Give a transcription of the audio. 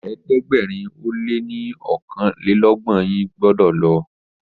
ẹ̀ẹ́dẹ̀gbẹ̀rin o lẹ ní okanlelogbon yín gbódò lo.!